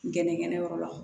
Gɛnɛgɛnɛyɔrɔ la